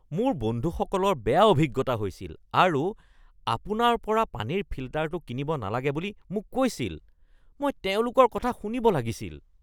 মোৰ বন্ধুসকলৰ বেয়া অভিজ্ঞতা হৈছিল আৰু আপোনাৰ পৰা পানীৰ ফিল্টাৰটো কিনিব নালাগে বুলি মোক কৈছিল। মই তেওঁলোকৰ কথা শুনিব লাগিছিল। (গ্ৰাহক)